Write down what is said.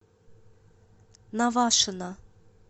навашино